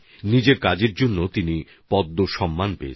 নিজের কাজের জন্য তিনি পদ্ম পুরস্কারও পেয়েছেন